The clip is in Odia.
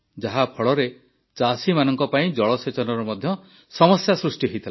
ଯାହାଫଳରେ ଚାଷୀମାନଙ୍କ ପାଇଁ ଜଳସେଚନର ମଧ୍ୟ ସମସ୍ୟା ସୃଷ୍ଟି ହୋଇଥିଲା